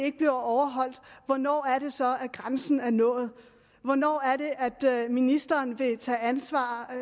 ikke bliver overholdt og hvornår er det så at grænsen er nået hvornår er det at ministeren vil tage ansvar